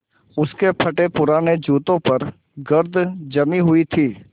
उसके फटेपुराने जूतों पर गर्द जमी हुई थी